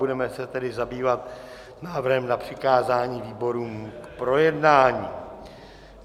Budeme se tedy zabývat návrhem na přikázání výborům k projednání.